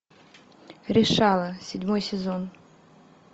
решала седьмой сезон